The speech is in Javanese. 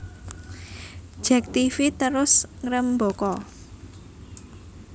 Jek Tv terus ngrembaka